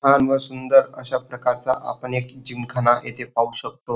छान व सुंदर अशा प्रकारचा आपण एक जिमखाना येथे पाहू शकतो.